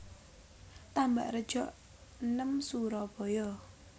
Tambakrejo enem Surabaya